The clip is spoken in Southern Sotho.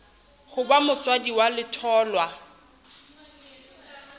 ho ba motswadi wa letholwa